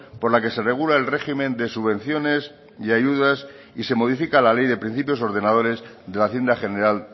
por la que se regula el régimen de subvenciones y ayudas y se modifica la ley de principios ordenadores de la hacienda general